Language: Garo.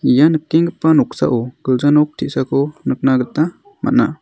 ia nikenggipa noksao gilja nok te·sako nikna gita man·a.